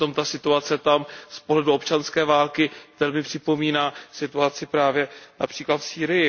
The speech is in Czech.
Přitom ta situace tam, z pohledu občanské války, velmi připomíná situaci právě například v Sýrii.